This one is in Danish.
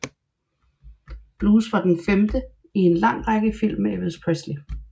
Blues var den femte i en lang række af film med Elvis Presley